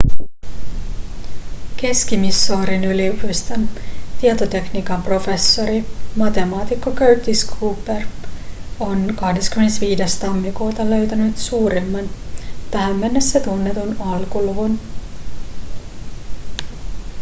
keski-missourin yliopiston tietotekniikan professori matemaatikko curtis cooper on 25 tammikuuta löytänyt suurimman tähän mennessä tunnetun alkuluvun